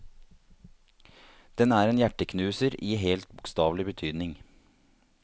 Den er en hjerteknuser i helt bokstavelig betydning.